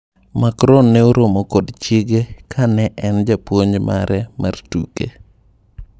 Macron ne oromo kod chiege ka ne en japuonj mare mar tuke.